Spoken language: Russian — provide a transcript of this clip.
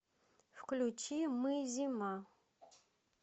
включи мы зима